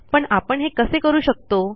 पण आपण हे कसे करू शकतो